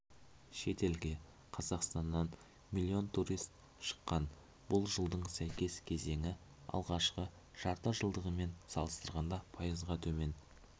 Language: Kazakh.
шетелге қазақстаннан млн турист шыққан бұл жылдың сәйкес кезеңі алғашқы жарты жылдығымен салыстырғанда пайызға төмен